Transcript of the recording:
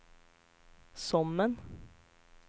Sommen